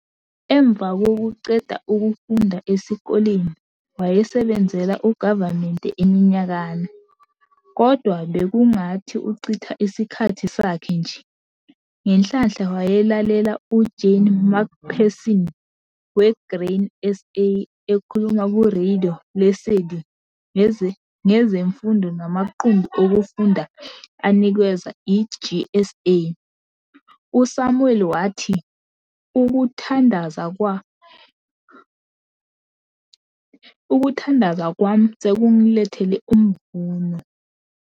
Emva kokuqeda ukufunda esikoleni wayesebenzela ugavumente iminyakana, kodwa bekungathi uchitha isikhathi sakhe nje. Ngenhlanhla wayelalela uJane McPherson weGrain SA ekhuluma kuRadio Lesedi ngezifundo namaqumbi okufunda anikezwa iGSA. USamuel wathi- ukuthandaza kwa sekungilethele umvuno.